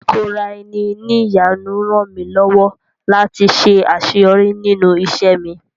Ìkóra-eni-ní-ìjánu rànmí lọ́wọ́ láti ṣe àṣẹyọrí nínú ìṣẹ́ mi..